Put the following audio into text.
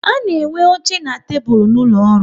A na enwe oche na tebụl n'ụlọ ọrụ